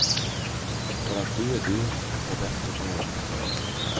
För att du är du, och bättre kan jag inte förklara.